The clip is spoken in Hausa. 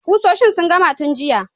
Kusoshin sun gama tun jiya.